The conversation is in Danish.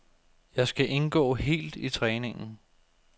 Jeg skal indgå helt i træningen.